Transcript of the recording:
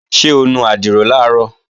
Ṣé o nu àdìrò làárọ̀?